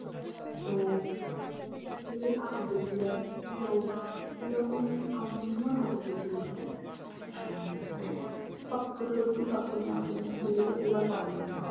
তো সকলেই ঠাকুর দেখতে যায় তো এরকম আমিও ঠাকুর দেখতে গেছিলাম। আহ তো সপ্ত ষষ্ঠী, সপ্তমী, অষ্টমী পূজো তো শুরু হয় পঞ্চমী থেকে।